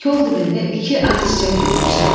Kol dibində iki ağ çiçək bitmişdi.